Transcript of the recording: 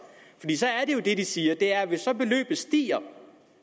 det de siger er at hvis beløbet stiger